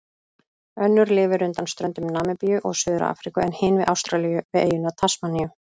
Önnur lifir undan ströndum Namibíu og Suður-Afríku en hin við Ástralíu, við eyjuna Tasmaníu.